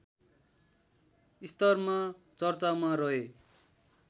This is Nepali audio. स्तरमा चर्चामा रहे